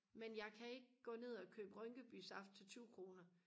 men jeg kan ikke gå ned og købe rynkeby saft til tyve kroner